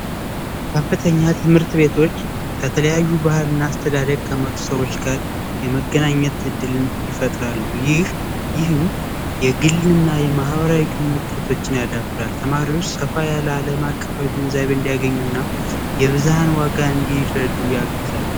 ከፍተኛ ትምህርት ቤቶች ከተለያዩ ባህልና አስተዳደር ከመጡ ሰዎች ጋር የመገናኘት ዕድልን ይፈጥራሉ ይህም የግልና የማህበራዊ ግንኙነት ተማሪዎች ሰፋ ያለማቀፋዊ ግንዛብ እንዲያገኙና የብዝሃ ዋጋ እንዲረጡ ያግዛል